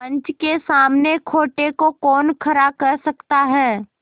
पंच के सामने खोटे को कौन खरा कह सकता है